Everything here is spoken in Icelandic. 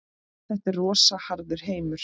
Þetta er rosa harður heimur.